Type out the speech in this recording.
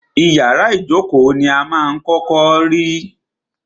Ìyárá ìjókó ní wà à kọ́kọ́ rí.